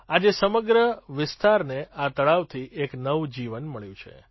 આજે સમગ્ર વિસ્તારને આ તળાવથી એક નવું જીવન મળ્યું છે